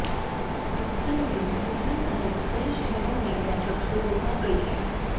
इसके लिए दिल्ली सहित कई शहरों में बैठक शुरू हो गई है